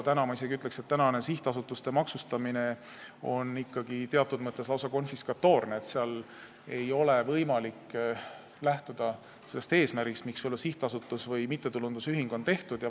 Ma isegi ütleksin, et praegune sihtasutuste maksustamine on teatud mõttes lausa konfiskatoorne, selle puhul ei ole võimalik lähtuda sellest eesmärgist, miks sihtasutus või mittetulundusühing on loodud.